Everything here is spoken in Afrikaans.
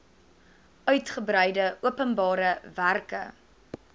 uigebreide openbare werke